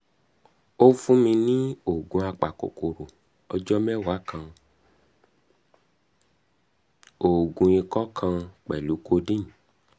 o fun mi ni oogun apakokoro ọjọ mẹwa kan & oogun ikọ kan pẹlu codeine